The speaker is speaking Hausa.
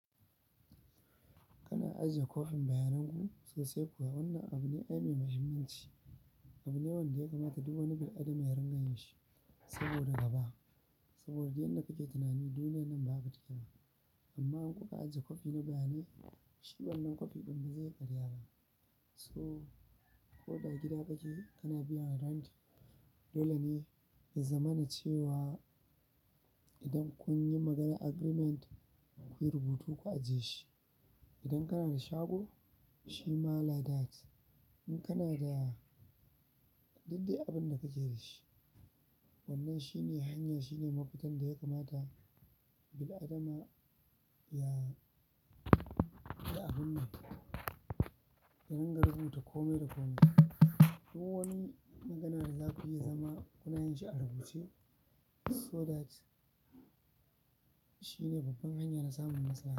Kana ajiye kopin bayanan ku sosai kuwa wannan abu ne mai mahimmanci. Abu ne wanda ya kamata duk wani bil'adama ya riƙa yin shi saboda gaba. Saboda duk yadda kake tinani duniyan nan ba haka take ba amma in kuka ajiye kofi na bayanai, shi wannan kofi ɗin ba zai ƙarya ba. So, ko da a gida kake kana biyan haraji dole ne ya zamana cewa idan kun yi maganar agreement kuyi rubutu ku ajiye shi. Idan kana da shago shi ma like that. In kana da duk abin da kake da shi wannan shi ne hanya, shi ne mafita da ya kamata bil'adama ya, ya abun ne, ya ringa rubuta kome da kome. Duk wani magana da za ku yi zama kuna yin shi a rubuce so that shi ne babban hanya na samun nasara.